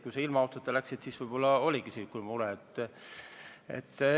Kui sa ilma autota läksid, siis võib-olla oligi selline mure.